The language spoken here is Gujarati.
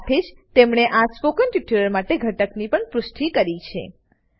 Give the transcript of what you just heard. સાથે જ તેમણે આ સ્પોકન ટ્યુટોરીયલ માટે ઘટકની પણ પુષ્ટિ કરી છે